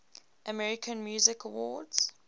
american music awards